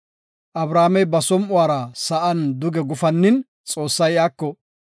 Abramey ba som7uwara sa7an duge gufannin Xoossay iyako,